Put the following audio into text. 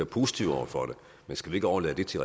positiv over for det men skal vi ikke overlade det til